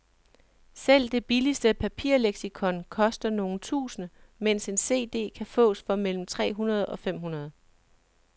Selv det billigste papirleksikon koster nogle tusinde, mens en cd kan fås for mellem tre hundrede og fem hundrede.